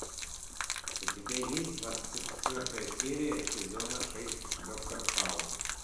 у тебя есть двадцать четвертая серия сезона шесть доктор хаус